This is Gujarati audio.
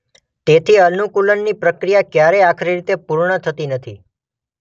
તેથી અનુકૂલનની પ્રક્રિયા કયારેય આખરી રીતે પૂર્ણ થતી નથી.